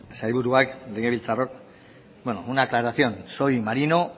sailburuak legebiltzarrok bueno una aclaración soy marino